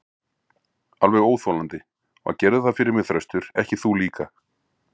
Alveg óþolandi, og gerðu það fyrir mig Þröstur, ekki þú líka.